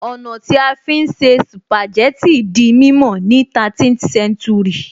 Ọ̀nà tí a fi ń se spàjẹ́tì di mímọ̀ ni 13th séntúrì